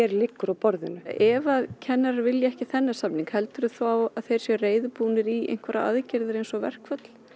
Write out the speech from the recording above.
liggur á borðinu ef kennarar vilja ekki þennan samning heldurðu þá að þeir séu reiðubúnir í einhverjar aðgerðir eins og verkföll